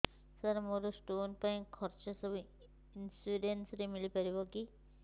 ସାର ମୋର ସ୍ଟୋନ ପାଇଁ ଖର୍ଚ୍ଚ ସବୁ ଇନ୍ସୁରେନ୍ସ ରେ ମିଳି ପାରିବ କି